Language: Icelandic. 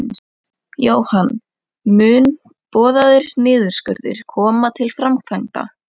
Jóhann: Mun boðaður niðurskurður koma til framkvæmda?